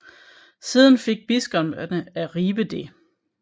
Siden fik biskopperne af Ribe det